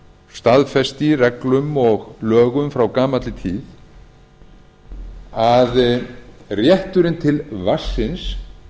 staðfest í reglum og lögum frá gamalli tíð að rétturinn til vatnsins